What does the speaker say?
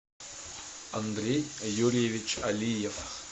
андрей юрьевич алиев